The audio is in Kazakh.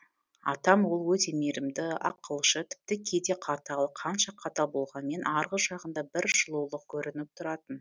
атам ол өте мейрімді ақылшы тіпті кейде қатал қанша қатал болғанмен арғы жағында бір жылулық көрініп тұратын